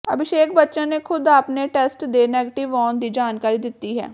ਅਭਿਸ਼ੇਕ ਬੱਚਨ ਨੇ ਖ਼ੁਦ ਆਪਣੇ ਟੈਸਟ ਦੇ ਨੈਗੇਟਿਵ ਆਉਣ ਦੀ ਜਾਣਕਾਰੀ ਦਿੱਤੀ ਹੈ